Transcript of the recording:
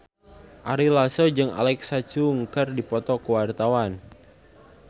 Ari Lasso jeung Alexa Chung keur dipoto ku wartawan